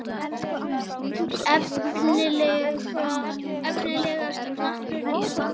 Efnilegasta knattspyrnukona landsins?